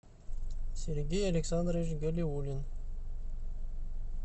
сергей александрович галиулин